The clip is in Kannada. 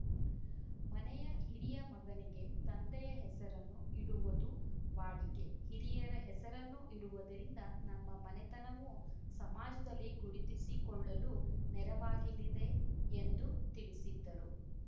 ಮನೆಯ ಹಿರಿಯ ಮಗನಿಗೆ ತಂದೆಯ ಹೆಸರನ್ನು ಇಡುವದು ವಾಡಿಕೆ ಹಿರಿಯರ ಹೆಸರನ್ನು ಇಡುವುದರಿಂದ ನಮ್ಮ ಮನೆತನವು ಸಮಾಜದಲ್ಲಿ ಗುರುತಿಸಿಕೊಳ್ಳಲು ನೆರವಾಗಿಲಿದೆ ಎಂದು ತಿಳಿಸಿದ್ದರು